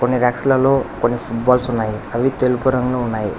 కొన్ని రాక్స్లాల్లో కొన్ని ఫుట్బాల్స్ ఉన్నాయి అవి తెలుపు రంగులొ ఉన్నాయి.